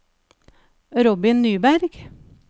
Robin Nyberg